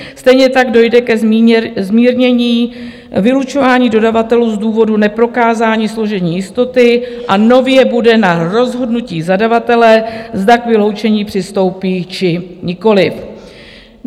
Stejně tak dojde ke zmírnění vylučování dodavatelů z důvodu neprokázání složení jistoty a nově bude na rozhodnutí zadavatele, zda k vyloučení přistoupí, či nikoliv.